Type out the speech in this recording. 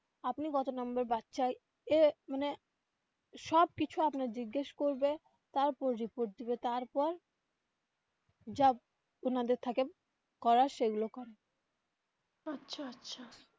আপনি কত নম্বর বাচ্চায় এ মানে সব কিছু আপনার জিজ্ঞেস করবে তারপর report দিবে তারপর যা ওনাদের থাকে করার সেগুলো করে.